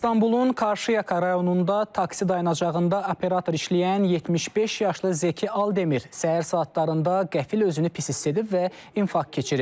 İstanbulun Qarşıyaka rayonunda taksi dayanacağında operator işləyən 75 yaşlı Zəki Aldəmir səhər saatlarında qəfil özünü pis hiss edib və infarkt keçirib.